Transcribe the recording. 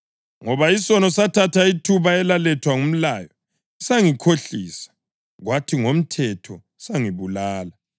Ngoba isono sathatha ithuba elalethwa ngumlayo, sangikhohlisa, kwathi ngomthetho sangibulala.